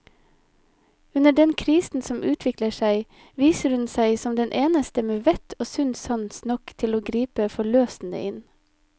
Under den krisen som utvikler seg, viser hun seg som den eneste med vett og sunn sans nok til å gripe forløsende inn.